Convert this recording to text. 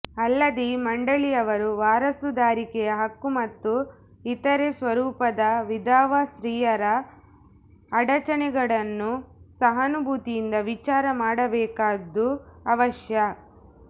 ಅಲ್ಲದೆ ಈ ಮಂಡಳಿಯವರು ವಾರಸುದಾರಿಕೆಯ ಹಕ್ಕು ಮತ್ತು ಇತರೆ ಸ್ವರೂಪದ ವಿಧವಾ ಸ್ತ್ರೀಯರ ಅಡಚಣೆಗಳನ್ನು ಸಹಾನುಭೂತಿಯಿಂದ ವಿಚಾರ ಮಾಡಬೇಕಾದ್ದು ಅವಶ್ಯ